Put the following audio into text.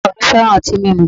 O̩ko̩ mi fe̩ran o̩ti mimu